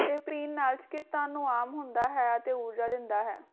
ਇਹ ਪੀਣ ਨਾਲ ਚਿਕਿਤਾਨ ਨੂੰ ਆਮ ਹੁੰਦਾ ਹੈ ਅਤੇ ਊਰਜਾ ਦਿੰਦਾ ਹੈ